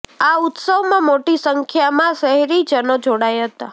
આ ઉત્સવ માં મોટી સંખ્યા માં શહેરીજનો જોડાયા હતા